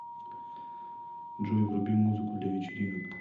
джой вруби музыку для вечеринок